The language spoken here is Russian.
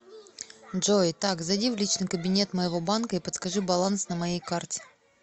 джой так зайди в личный кабинет моего банка и подскажи баланс на моей карте